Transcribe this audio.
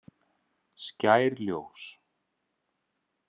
Skær ljós.